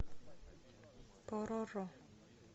пороро